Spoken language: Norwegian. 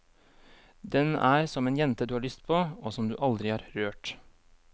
Den er som en jente du har lyst på, og som du aldri har rørt.